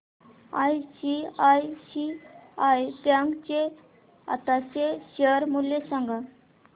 ICICI bank चे आताचे share मूल्य सांगा